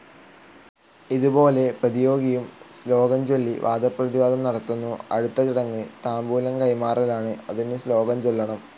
ഇതുപോലെ പ്രതിയോഗിയും ശ്ലോകംചൊല്ലി വാദപ്രതിവാദം നടത്തുന്നു. അടുത്ത ചടങ്ങ് താംബൂലം കൈമാറലാണ്. അതിനും ശ്ലോകം ചൊല്ലണം.